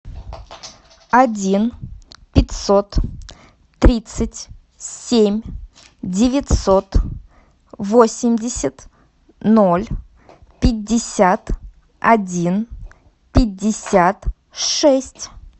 один пятьсот тридцать семь девятьсот восемьдесят ноль пятьдесят один пятьдесят шесть